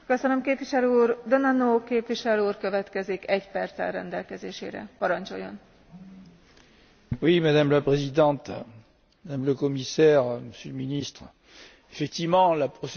Madame la Présidente, Madame la Commissaire, Monsieur le Ministre, la procédure de conciliation budgétaire a effectivement échoué tant sur le budget rectificatif 2014 que sur le budget 2015.